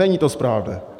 Není to správné.